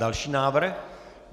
Další návrh.